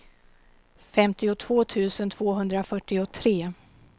femtiotvå tusen tvåhundrafyrtiotre